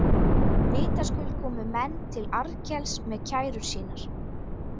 Vitaskuld komu menn til Arnkels með kærur sínar.